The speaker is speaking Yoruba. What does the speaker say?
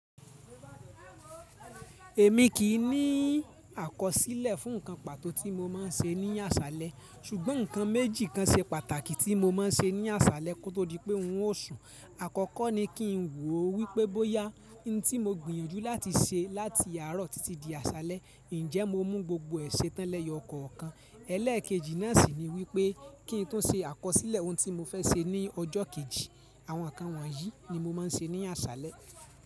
Èmi kì í ní àkọsílẹ̀ fún nǹkan pàtó tí mo máa ń ṣe ní àṣálẹ́, ṣùgbọ́n nǹkan méjì kan ṣe pàtàkì tí mo máa ń ṣe ní àṣálẹ́ kó tó di pé ng ó sùn. Àkọ́kọ́ ni kí n wò wípé bóyá ohun tí mo gbìyànjú láti ṣe láti àárọ̀ títí di àṣálẹ́, ǹjẹ́ mo mú gbogbo è ṣe tán lẹ̀yọ kọ̀ọ̀kan. Ẹlẹ́èkejì náà sì ni wípé kí n tún ṣe àkọsílẹ̀ ohun tí mo fẹ́ ṣe ní ọjọ́ kejì. Àwọn nǹkan wọ̀nyí ni mo máa ń ṣe ní àṣálẹ́.